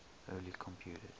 early computers